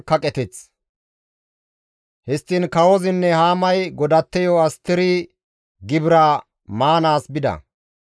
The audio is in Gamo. Histtiin kawozinne Haamay godatteyo Asteri gibiraa maanaas bida.